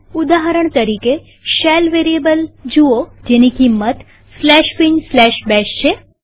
ઉદાહરણ તરીકેશેલ વેરીએબલને જુઓ જેની કિંમત bin bash છે